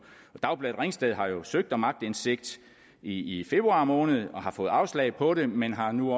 dagbladet ringsted har jo søgt om aktindsigt i februar måned og har fået afslag på det men har nu